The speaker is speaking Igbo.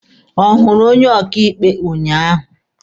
Ọ hụrụ onye ọkaịkpe ụnyaahụ?